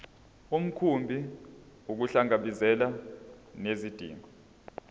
mkhumbi ukuhlangabezana nezidingo